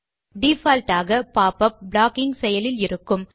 default ஆக pop up blocking செயலில் இருக்கும்